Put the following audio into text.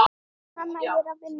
Mamma, ég er að vinna.